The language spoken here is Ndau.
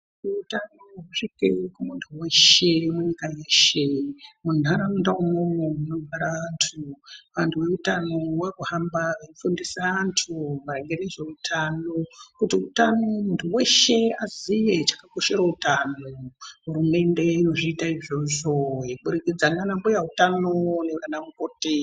Kuti utano husvike kumuntu veshe munyika yeshe muntaraunda imwomwo munogara antu. Vantu veutano vakuhamba veifundisa vantu maringe nezveutano kuti utano vantu veshe vaziye zvakakoshera utano. Hurumende inozviita izvozvo kubudikidza ndiana mbuya utano nevana mukoti.